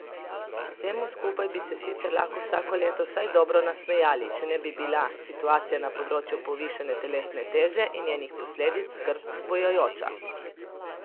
Vsemu skupaj bi se sicer lahko vsako leto vsaj dobro nasmejali, če ne bi bila situacija na področju povišane telesne teže in njenih posledic skrb vzbujajoča.